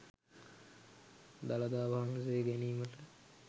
දළදා වහන්සේ ගැනීමට